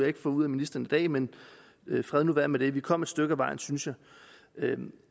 ikke få ud af ministeren i dag men fred nu være med det vi kom et stykke ad vejen synes jeg